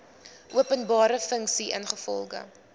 openbare funksie ingevolge